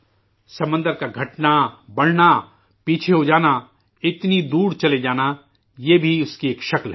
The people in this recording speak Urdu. سمندر کا گھٹنا، بڑھنا، پیچھے ہو جانا، اتنی دور چلے جانا، یہ بھی اس کی ایک شکل ہے